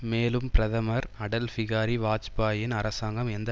மேலும் பிரதமர் அடல்பிகாரி வாஜ்பாயியின் அரசாங்கம் எந்த